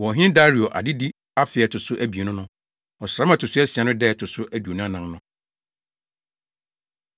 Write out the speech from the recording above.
wɔ Ɔhene Dario adedi afe a ɛto so abien no, ɔsram a ɛto so asia no da a ɛto so aduonu anan no.